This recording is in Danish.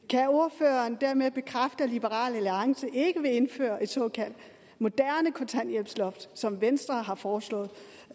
kan ordføreren dermed bekræfte at liberal alliance ikke vil indføre et såkaldt moderne kontanthjælpsloft som venstre har foreslået